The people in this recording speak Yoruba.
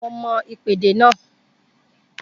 Mo mọm ìpèdè náà